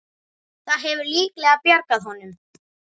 Það hefur líklega bjargað honum.